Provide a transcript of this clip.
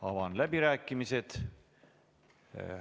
Avan läbirääkimised.